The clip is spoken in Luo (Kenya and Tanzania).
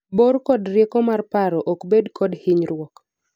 bor kod rieko mar paro ok bed kod hinyruok